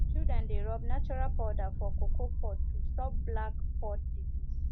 children dey rub natural powder for cocoa pod to stop black pod disease